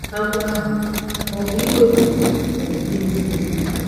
Àgwọ ahụ ọ̀ bụ iwepụ okpukpe niile?